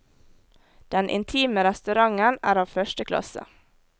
Den intime restauranten er av første klasse.